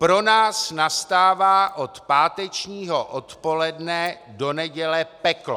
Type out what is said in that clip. Pro nás nastává od pátečního odpoledne do neděle peklo.